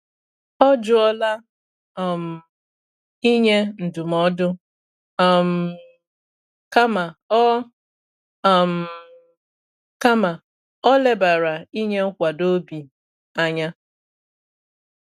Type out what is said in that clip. Ọ jụọla um inye ndụmọdụ, um kama o um kama o lebara inye nkwado obi anya.